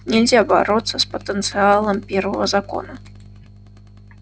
нельзя бороться с потенциалом первого закона